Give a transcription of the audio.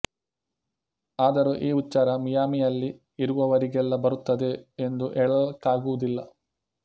ಆದರೂ ಈ ಉಚ್ಚಾರ ಮಿಯಾಮಿಯಲ್ಲಿ ಇರುವವರಿಗೆಲ್ಲ ಬರುತ್ತದೆ ಎಂದು ಹೇಳಲಿಕ್ಕಾಗುವುದಿಲ್ಲ